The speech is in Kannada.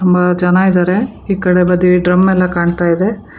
ಬಾಳ ಜನ ಇದ್ದಾರೆ ಈ ಕಡೆ ಬದಿಗೆ ಡ್ರಮ್ ಎಲ್ಲ ಕಾಣ್ತಾ ಇದೆ.